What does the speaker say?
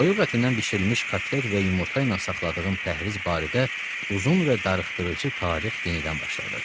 Toyuq ətindən bişirilmiş kotlet və yumurta ilə saxladığım pəhriz barədə uzun və darıxdırıcı tarix yenidən başladı.